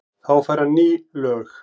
Þá fær hann ný lög.